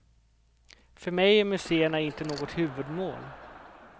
För mig är muséerna inte något huvudmål.